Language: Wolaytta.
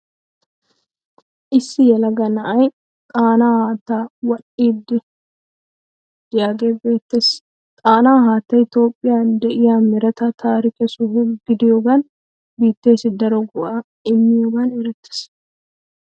Issi yelaga na'ayi Xaanaa haattaa waxxiiddi de'iyagee beettes. Xaanaa haattayi Toophphiya de'iya mereta taarike soho gidyoogan biitteessi daro go'aa immiyogan erettees.